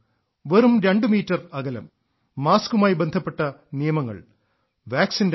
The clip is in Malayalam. വെറും രണ്ടു മീറ്റർ അകലം മാസ്ക്മായി ബന്ധപ്പെട്ട നിയമങ്ങൾ വാക്സിന്റെ കാര്യം